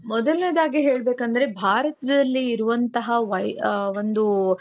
ಮೊದಲನೇದಾಗಿ ಹೇಳಬೇಕು ಅಂದರೆ ಭಾರತದಲ್ಲಿ ಇರುವಂತಹ ಒಂದು